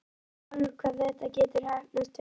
Þú veist sjálfur hvað þetta getur heppnast vel.